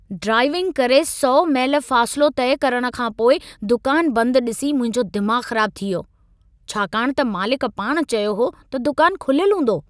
Driving करे 100 मैल फ़ासिलो तइ करण खां पोइ दुकान बंदि ॾिसी मुंहिंजो दिमाग़ु ख़राबु थी वियो, छाकाणि त मालिक पाण चयो हो त दुकान खुलियलु हूंदो।